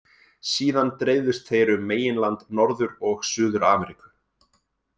Síðan dreifðust þeir um meginland Norður- og Suður-Ameríku.